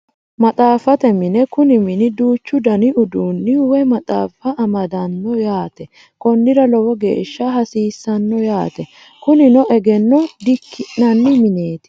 Maxaafate mine Kuni mini duuchu Dani uduuninni woye maxaafa amadano yaate konnira lowo geeshsha hasiisano yaate kunino egeno dikki'nanni mineeti